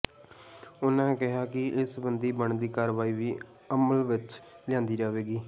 ਉਨਾਂ ਕਿਹਾ ਕਿ ਇਸ ਸਬੰਧੀ ਬਣਦੀ ਕਾਰਵਾਈ ਵੀ ਅਮਲ ਵਿੱਚ ਲਿਆਂਦੀ ਜਾਵੇਗੀ